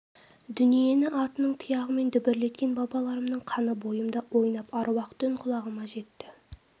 дүниені атының тұяғымен дүбірлеткен бабаларымның қаны бойымда ойнап аруақты үн құлағыма жетті